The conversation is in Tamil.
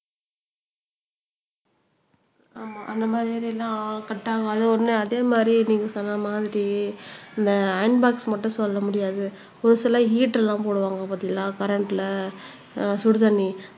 ஆமா அந்த மாதிரி எல்லாம் கட் ஆகாது உடனே அதே மாதிரி நீங்க சொன்ன மாதிரி இந்த அயன் போக்ஸ் மட்டும் சொல்ல முடியாது ஒரு சிலர் ஹீட் எல்லாம் போடுவாங்க பார்த்தீங்களா கரண்ட்ல அஹ் சுடுதண்ணி